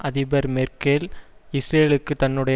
அதிபர் மேர்க்கெல் இஸ்ரேலுக்கு தன்னுடைய